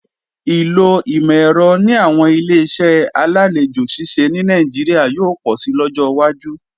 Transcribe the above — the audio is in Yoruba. Ìlò ìmọ̀-ẹ̀rọ ní àwọn Ileṣẹ́ alálejò ṣíṣe ní Nàìjíríà yóò pọ̀si lọ́jọ́ wájú